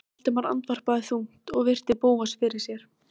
Þú hefur alltaf staðið með honum á móti mér.